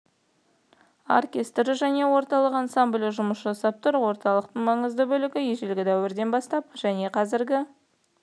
оркестрі және орталық ансамблі жұмыс жасап тұр орталықтың маңызды бөлігі ежелгі дәуірден бастап және қазіргі